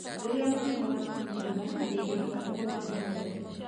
Rĩrĩa mũkingo wanyihia hinya, ndĩgĩhota kũhũra mĩmera.